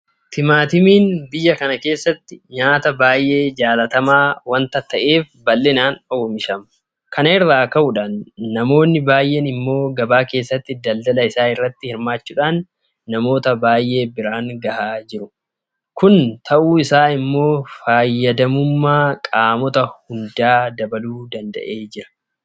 Timaatimiin biyya kana keessatti nyaata baay'ee jaalatamaa waanta ta'eef bal'inaan oomishama. Kana irraa ka'uudhaan namoonni baay'een immoo gabaa keessatti daldala isaa irratti hirmaachuudhaan namoota baay'ee biraan gahaa jiru. Kun ta'uun isaa immoo fayyadamummaa qaamota hundaa dabaluu danda'eera.